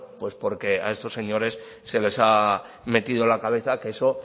pues porque a estos señores se les ha metido en la cabeza que eso